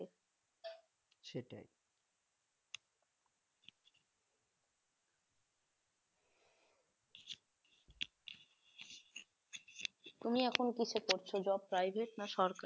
তুমি এখন কিসে করছ job private না সরকারি?